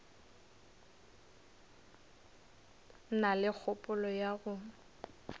na le kgopolo ya go